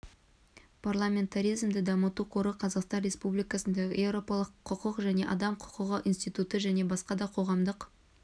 парламентаризмді дамыту қоры қазақстан республикасындағы еуропалық құқық және адам құқығы институты және басқа да қоғамдық